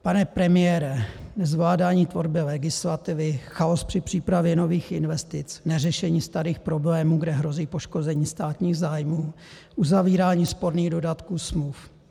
Pane premiére, zvládání tvorby legislativy, chaos při přípravě nových investic, neřešení starých problémů, kde hrozí poškození státních zájmů, uzavírání sporných dodatků smluv.